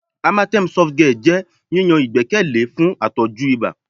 Amatem Softgel jẹ yiyan igbẹkẹle fun atọju iba